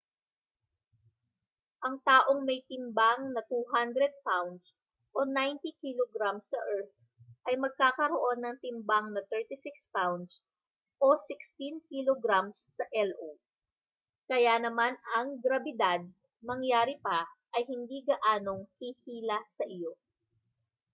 ang taong may timbang na 200 pounds 90kg sa earth ay magkakaroon ng timbang na 36 pounds 16kg sa io. kaya naman ang grabidad mangyari pa ay hindi gaanong hihila sa iyo